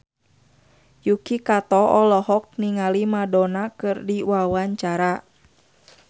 Yuki Kato olohok ningali Madonna keur diwawancara